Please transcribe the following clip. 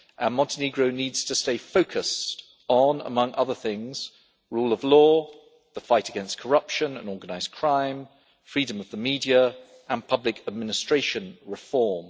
Montenegro needs to stay focused on, among other things, rule of law, the fight against corruption and organised crime, freedom of the media and public administration reform.